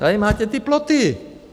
Tady máte ty ploty.